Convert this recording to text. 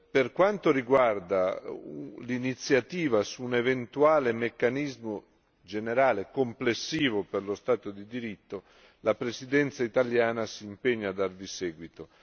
Per quanto riguarda l'iniziativa su un eventuale meccanismo generale complessivo per lo Stato di diritto la Presidenza italiana si impegna a darvi seguito.